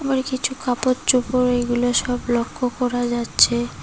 আর কিছু কাপড়চোপড় এই গুলা সব লক্ষ্য করা যাচ্ছে।